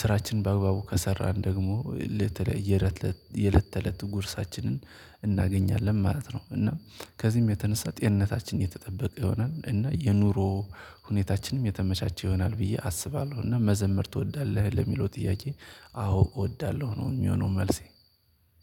ስራችንን በአግባቡ ከሰራን ደግሞ ለትለይ ለት ለት የለት ተለት ጉርሳችንን እናገኛለን ማለት ነው፤ እና ከዚህም የተነሳ ጤንነታችን የተጠበቀ ይሆናል፤ እና የኑሮ ሁኔታችንም የተመቻቸ ይሆናል ብዬ አስባለሁ። እና "መዘምር ትወዳለህ?" ለሚለው ጥያቄ፤ አዎ እወዳለሁ ነው የሚሆነው መልሴ።